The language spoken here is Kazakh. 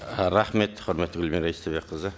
ы рахмет құрметті гүлмира истайбекқызы